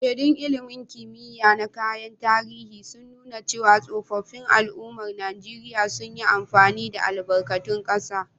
Shaidun ilmin kimiya na kayan tarihi, sun nuna cewa tsoffin al'ummar Najeriya sun yi amfani da albarkatun kasa.